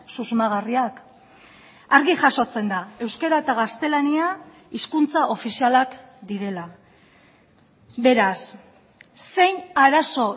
susmagarriak argi jasotzen da euskara eta gaztelania hizkuntza ofizialak direla beraz zein arazo